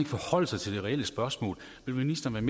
forholde sig til det reelle spørgsmål vil ministeren